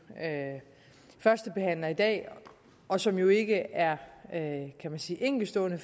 førstebehandler i dag og som jo ikke er kan man sige enkeltstående